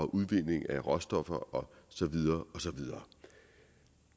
udvinding af råstoffer og så videre og så videre